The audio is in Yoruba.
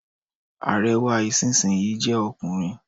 Ààrẹ wa ìsinsìnyí jẹ́ ọkùnrin.